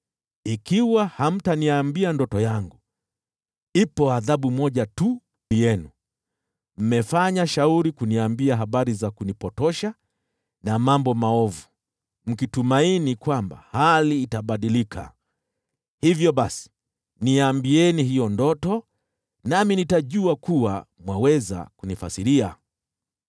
Ikiwa hamtaniambia ndoto yangu, ipo adhabu moja tu kwenu. Mmefanya shauri kuniambia habari za kunipotosha na mambo maovu, mkitumaini kwamba hali itabadilika. Hivyo basi, niambieni hiyo ndoto, nami nitajua kuwa mwaweza kunifasiria.”